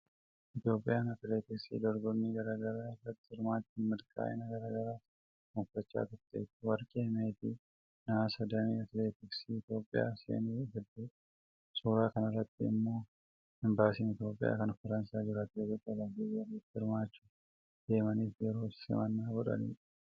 Itoophiyaan atileetiksiin dorgommii gara garaa irratti hirmaachuun milkaa’ina gara garaas gonfachaa turteetti. Warqee, meetii fi nahaasni damee atileetiksiin Itoophiyaa seene hedduudha. Suuraa kanarratti immoo imbaasiin Itoophiyaa kan Faransaay jiru atileetota olimpiikii irratti hirmmachuuf deemaniif yeroo simannaa godhanidha.